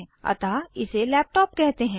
अतः इसे लैपटॉप कहते हैं